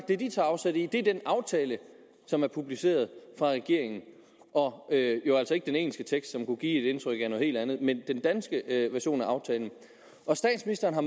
det de tager afsæt i er den aftale som er publiceret af regeringen og det er jo altså ikke den engelske tekst som kunne give et indtryk af noget helt andet men den danske version af aftalen statsministeren har